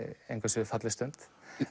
engu að síður falleg stund